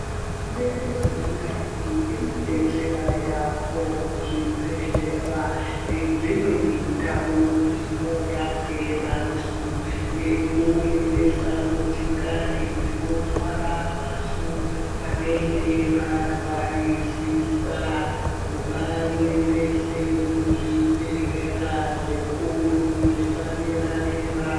Hurumende yenyika yedu inodetsera yaamho muzvibhedhlera nedzimweni ndau dzinorapwa vantu, ngekuendesa motikari dzino twara vantu vanenge varwarisisa kuvaendese kuzvi bhedhlera zvikuru zvapadera dera.